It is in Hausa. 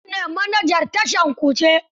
Habu ne manajan tashar Kuje.